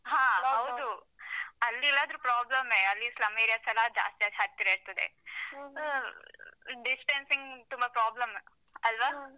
ಹ ಹೌದು. ಅಲ್ಲಿ ಇಲ್ಲದ್ರೂ problem ಯೇ. ಅಲ್ಲಿ slum areas ಯೆಲ್ಲಾ ಜಾಸ್ತಿಯಾಗಿ ಹತ್ತಿರ ಇರ್ತದೆ. ಹ್ಮ್ distancing ತುಂಬಾ problem ಅಲ್ವಾ?